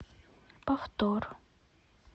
повтор